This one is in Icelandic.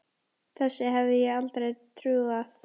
Þessu hefði ég aldrei trúað.